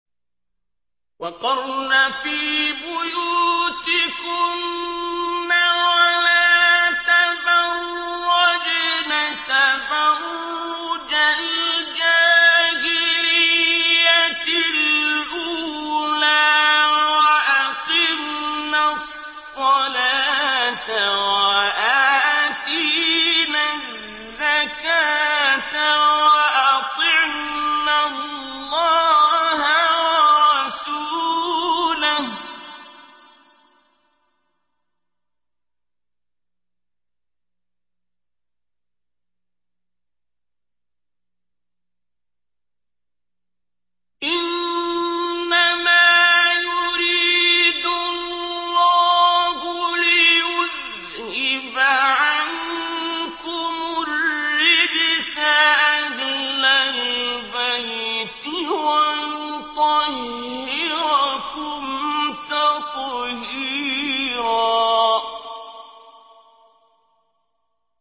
وَقَرْنَ فِي بُيُوتِكُنَّ وَلَا تَبَرَّجْنَ تَبَرُّجَ الْجَاهِلِيَّةِ الْأُولَىٰ ۖ وَأَقِمْنَ الصَّلَاةَ وَآتِينَ الزَّكَاةَ وَأَطِعْنَ اللَّهَ وَرَسُولَهُ ۚ إِنَّمَا يُرِيدُ اللَّهُ لِيُذْهِبَ عَنكُمُ الرِّجْسَ أَهْلَ الْبَيْتِ وَيُطَهِّرَكُمْ تَطْهِيرًا